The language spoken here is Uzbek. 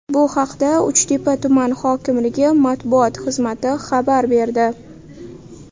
Bu haqda Uchtepa tuman hokimligi matbuot xizmati xabar berdi .